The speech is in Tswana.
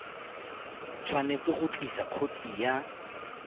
tshwanetse go tlisa khopi ya